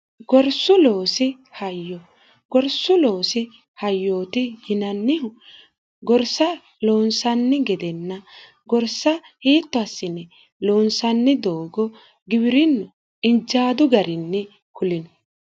gorsu oosi hygorsu loosi hayyooti yinannihu gorsa loonsanni gedenna gorsa hiittoassine loonsanni doogo gibirinno injaadu garinni kulino